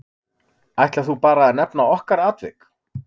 Ætlar þú bara að nefna okkar atvik?